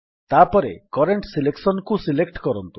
ତାପରେ କରେଣ୍ଟ Selectionକୁ ସିଲେକ୍ଟ କରନ୍ତୁ